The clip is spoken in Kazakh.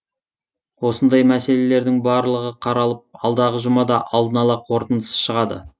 осындай мәселелердің барлығы қаралып алдағы жұмада алдын ала қорытындысы шығады